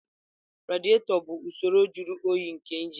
Radiator bụ usoro jụrụ oyi nke injin.